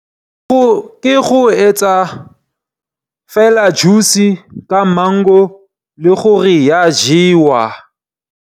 Ke go etsa fela juice ka mango le gore ya jewa.